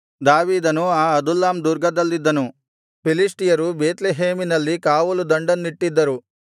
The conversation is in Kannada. ದಾವೀದನು ಆ ಅದುಲ್ಲಾಮ್ ದುರ್ಗದಲ್ಲಿದ್ದನು ಫಿಲಿಷ್ಟಿಯರು ಬೇತ್ಲೆಹೇಮಿನಲ್ಲಿ ಕಾವಲುದಂಡನ್ನಿಟ್ಟಿದ್ದರು